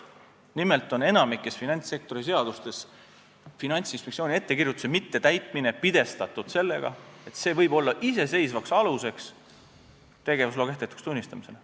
Nimelt on enamikus finantssektoriseadustes Finantsinspektsiooni ettekirjutuse mittetäitmine pidestatud sellega, et see võib olla iseseisvaks aluseks tegevusloa kehtetuks tunnistamisele.